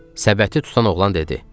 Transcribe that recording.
Səbəti tutan oğlan dedi.